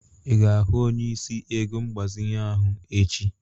Ị ga-ahụ onyeisi ego mgbazinye ahụ echi?